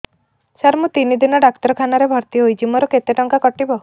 ସାର ମୁ ତିନି ଦିନ ଡାକ୍ତରଖାନା ରେ ଭର୍ତି ହେଇଛି ମୋର କେତେ ଟଙ୍କା କଟିବ